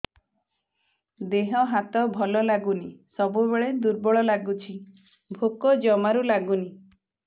ଦେହ ହାତ ଭଲ ଲାଗୁନି ସବୁବେଳେ ଦୁର୍ବଳ ଲାଗୁଛି ଭୋକ ଜମାରୁ ଲାଗୁନି